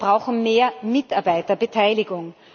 Wir brauchen mehr Mitarbeiterbeteiligung.